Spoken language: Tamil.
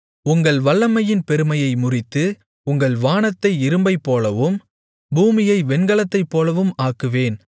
உங்கள் வல்லமையின் பெருமையை முறித்து உங்கள் வானத்தை இரும்பைப் போலவும் பூமியை வெண்கலத்தைப்போலவும் ஆக்குவேன்